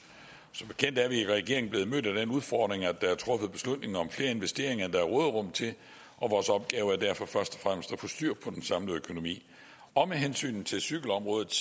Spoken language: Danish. som bekendt er vi i regeringen blevet mødt af den udfordring at der er truffet beslutning om flere investeringer end der er råderum til og vores opgave er derfor først og fremmest at få styr på den samlede økonomi og med hensyn til cykelområdet